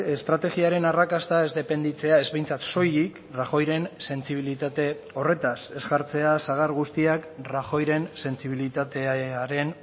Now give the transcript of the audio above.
estrategiaren arrakasta ez dependitzea ez behintzat soilik rajoyren sentsibilitate horretaz ez jartzea sagar guztiak rajoyren sentsibilitatearen